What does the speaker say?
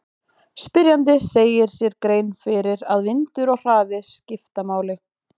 Spyrjandi gerir sér grein fyrir að vindur og hraði skipta máli.